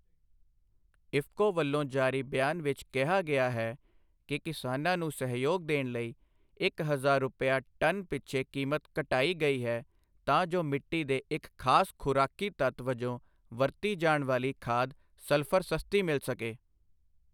ਇਫਕੋ ਵੱਲੋਂ ਜਾਰੀ ਬਿਆਨ ਵਿੱਚ ਕਿਹਾ ਗਿਆ ਹੈ ਕਿ ਕਿਸਾਨਾਂ ਨੂੰ ਸਹਿਯੋਗ ਦੇਣ ਲਈ ਇੱਕ ਹਜ਼ਾਰ ਰੁਪਇਆ ਟਨ ਪਿੱਛੇ ਕੀਮਤ ਘਟਾਈ ਗਈ ਹੈ ਤਾਂ ਜੋ ਮਿੱਟੀ ਦੇ ਇੱਕ ਖਾਸ ਖੁਰਾਕੀ ਤੱਤ ਵਜੋਂ ਵਰਤੀ ਜਾਣ ਵਾਲੀ ਖਾਦ ਸਲਫਰ ਸਸਤੀ ਮਿਲ ਸਕੇ।